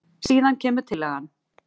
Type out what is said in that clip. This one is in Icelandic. Síðan kemur tillagan.